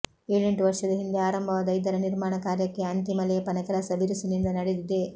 ಏಳೆಂಟು ವರ್ಷದ ಹಿಂದೆ ಆರಂಭವಾದ ಇದರ ನಿರ್ಮಾಣ ಕಾರ್ಯಕ್ಕೆ ಅಂತಿಮ ಲೇಪನ ಕೆಲಸ ಬಿರುಸಿನಿಂದ ನಡೆದಿದೆ